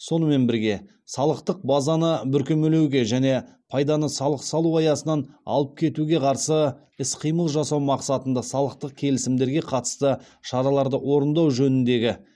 сонымен бірге салықтық базаны бүркемелеуге және пайданы салық салу аясынан алып кетуге қарсы іс қимыл жасау мақсатында салықтық келісімдерге қатысты шараларды орындау жөніндегі